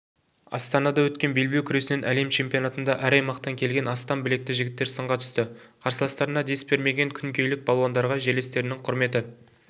астанада өткен белбеу күресінен әлем чемпионатында әр аймақтан келген астам білекті жігіттер сынға түсті қарсыластарына дес бермеген күнгейлік балуандарға жерлестерінің құрметі